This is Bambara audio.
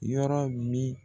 Yɔrɔ min.